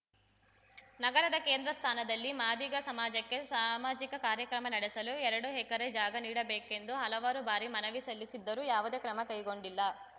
ನಗರದ ಕೇಂದ್ರ ಸ್ಥಾನದಲ್ಲಿ ಮಾದಿಗ ಸಮಾಜಕ್ಕೆ ಸಾಮಾಜಿಕ ಕಾರ್ಯಕ್ರಮ ನಡೆಸಲು ಎರಡು ಎಕರೆ ಜಾಗ ನೀಡಬೇಕೆಂದು ಹಲವಾರು ಬಾರಿ ಮನವಿ ಸಲ್ಲಿಸಿದ್ದರೂ ಯಾವುದೇ ಕ್ರಮ ಕೈಗೊಂಡಿಲ್ಲ